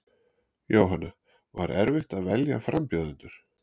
Jóhanna: Var erfitt að velja frambjóðendur?